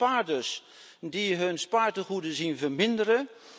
Dat zijn de spaarders die hun spaartegoeden zien verminderen.